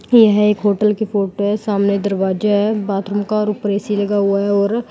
यह एक होटल की फोटो है सामने दरवाजा है बाथरूम का ऊपर ए_सी लगा हुआ है और--